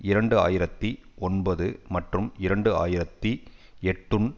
இரண்டு ஆயிரத்தி ஒன்பது மற்றும் இரண்டு ஆயிரத்தி எட்டுன்